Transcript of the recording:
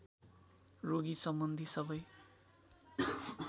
रोगी सम्बन्धी सबै